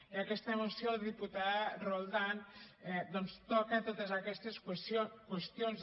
i aquesta moció diputada roldán doncs toca totes aquestes qüestions